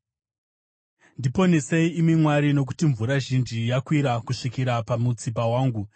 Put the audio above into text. Ndiponesei, imi Mwari, nokuti mvura zhinji yakwira kusvikira pamutsipa wangu.